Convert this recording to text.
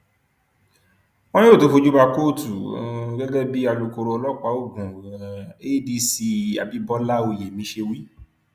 wọn yóò tóó fojú ba kóòtù um gẹgẹ bí alūkkóró ọlọpàá ogun um adc abibọlá oyemi ṣe wí